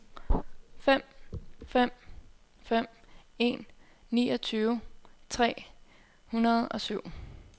fem fem fem en niogtyve tre hundrede og syv